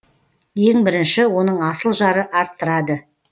ең бірінші оның асыл жары арттырады